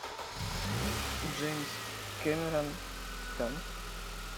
джеймс кэмерон титаник